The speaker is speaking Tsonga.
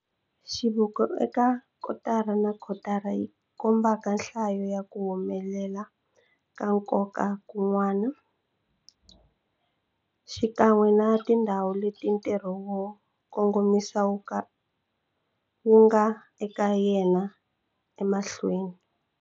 Xiviko eka kotara na kotara yi komba nhlayo ya ku humelela ka nkoka kun'wana, xikan'we na tindhawu leti ntirho wo kongomisa wu nga eka yena emahlweni.